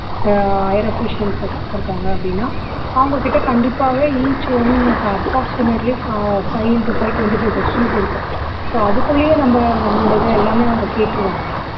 அஹ் higher officials ஒக்காந்து இருக்காங்க அப்படின்னா அவங்க கிட்ட கண்டிப்பாவே each one க்கு approximately phi five into five twenty five questions இருக்கும் so அதுக்குள்ளேயே நம்ம நம்மளோட இதை எல்லாமே அவங்க கேட்டுருவாங்க